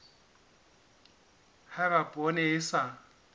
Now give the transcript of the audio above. ha eba poone e sa